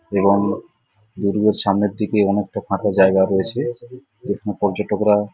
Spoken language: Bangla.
এবং দুর্গের সামনের দিকে অনেকটা ফাঁকা জায়গা রয়েছে বিভিন্ন পর্যটকরা--